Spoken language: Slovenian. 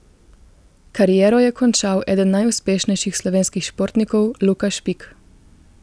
Kariero je končal eden najuspešnejših slovenskih športnikov Luka Špik.